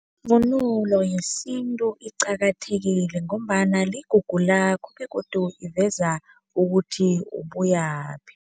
Ivunulo yesintu iqakathekile ngombana ligugu lakho begodu iveza ukuthi ubuyaphi.